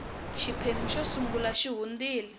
xiphemu xo sungula xi hundile